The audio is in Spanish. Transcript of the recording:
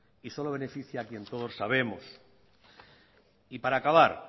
y solo beneficia a quien todos sabemos y para acabar